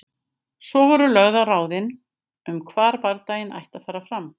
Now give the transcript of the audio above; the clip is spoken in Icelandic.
Svo voru lögð á ráðin um hvar bardaginn ætti að fara fram.